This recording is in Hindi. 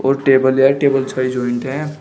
और टेबल जो है टेबल जॉइंट है।